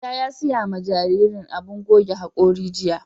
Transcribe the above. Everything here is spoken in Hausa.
Mai gida ya siya ma jarirain abun goge haƙori jiya.